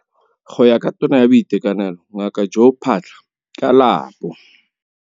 Go ya ka Tona ya Boitekanelo Ngaka Joe Phaahla, ka la bo.